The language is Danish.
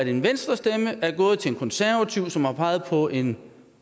en venstrestemme er gået til en konservativ i valgforbundet som har peget på en